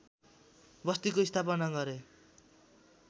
बस्तीको स्थापना गरे